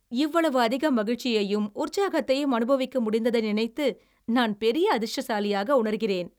இவ்வளவு அதிக மகிழ்ச்சியையும் உற்சாகத்தையும் அனுபவிக்க முடிந்ததை நினைத்து நான் பெரிய அதிர்ஷ்டசாலியாக உணர்கிறேன்!